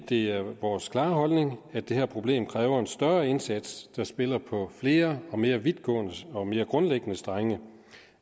det er vores klare holdning at det her problem kræver en større indsats der spiller på flere og mere vidtgående og mere grundlæggende strenge